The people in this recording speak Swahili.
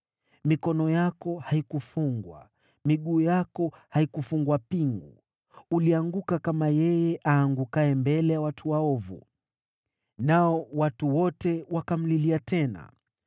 Mikono yako haikufungwa, miguu yako haikufungwa pingu. Ulianguka kama yeye aangukaye mbele ya watu waovu.” Nao watu wote wakamlilia tena.